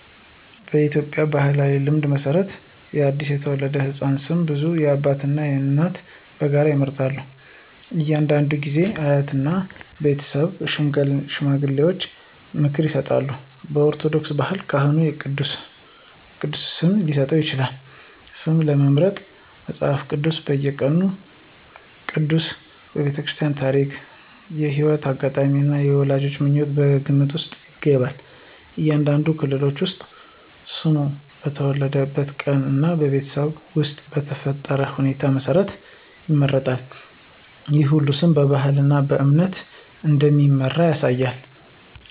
በኢትዮጵያ ባሕላዊ ልማድ መሠረት ለአዲስ የተወለደ ሕፃን ስም በብዛት አባትና እናት በጋራ ይመርጣሉ። አንዳንድ ጊዜ አያትና የቤተሰብ ሽማግሌዎች ምክር ይሰጣሉ። በኦርቶዶክስ ባህል ካህኑ የቅዱሳን ስም ሊሰጥ ይችላል። ስም ለመምረጥ መጽሐፍ ቅዱስ፣ የቀኑ ቅዱስ፣ የቤተሰብ ታሪክ፣ የሕይወት አጋጣሚ እና የወላጆች ምኞት ከግምት ውስጥ ይገባሉ። አንዳንድ ክልሎች ውስጥ ስሙ በተወለደበት ቀን እና በቤተሰብ ውስጥ በተፈጠረ ሁኔታ መሠረት ይመረጣል። ይህ ሁሉ ስም በባህልና በእምነት እንደሚመራ ያሳያል።